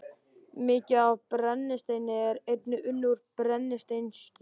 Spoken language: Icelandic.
Mikið af brennisteini er einnig unnið úr brennisteinskís.